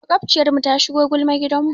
Maƙwabciyarmu ta shigo gulma gidanmu.